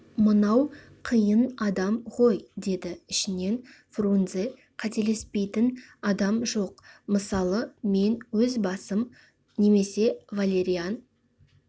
мынау қиын адам ғой деді ішінен фрунзе қателеспейтін адам жоқ мысалы мен өз басым немесе валериан